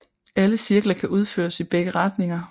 Alle cirkler kan udføres i begge retninger